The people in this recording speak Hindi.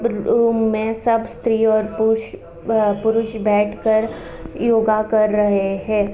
ब रूम में सब स्त्री और पुरुष अ पुरुष बैठ कर योगा कर रहे हैं।